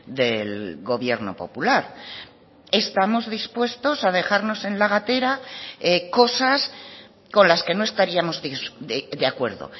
del gobierno popular estamos dispuestos a dejarnos en la gatera cosas con las que no estaríamos de acuerdo